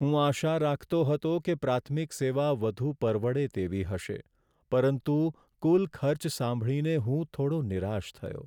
હું આશા રાખતો હતો કે પ્રાથમિક સેવા વધુ પરવડે તેવી હશે, પરંતુ કુલ ખર્ચ સાંભળીને હું થોડો નિરાશ થયો.